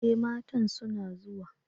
E! matan suna zuwa.